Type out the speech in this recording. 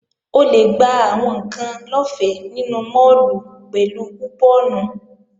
O lè gba àwọn ǹkan lọ́fẹ́ nínú máàlù pẹ̀lú kùpọ́ọ̀nù